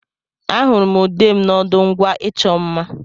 Ahụrụ m ude m n'ọdụ ngwa ịchọ mma.